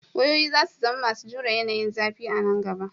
Wayoyi za su zama masu jure yanayin zafi a nan gaba.